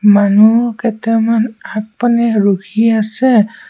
মানুহ কেটামান আগপানে ৰখি আছে।